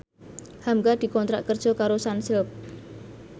hamka dikontrak kerja karo Sunsilk